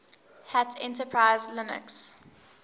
hat enterprise linux